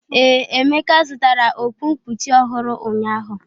Ee, Emeka zụtara okpu nkpuchi ọhụrụ ụnyahụ.